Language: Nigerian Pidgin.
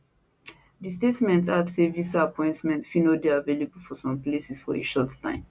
di statement add say visa appointments fit no dey available for some places for a short time